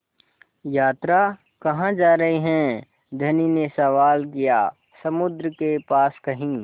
यात्रा कहाँ जा रहे हैं धनी ने सवाल किया समुद्र के पास कहीं